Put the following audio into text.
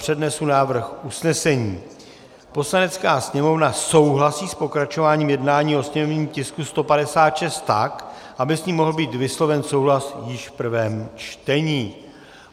Přednesu návrh usnesení: "Poslanecká sněmovna souhlasí s pokračováním jednání o sněmovním tisku 156 tak, aby s ním mohl být vysloven souhlas již v prvém čtení."